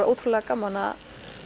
ótrúlega gaman að